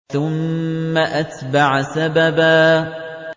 ثُمَّ أَتْبَعَ سَبَبًا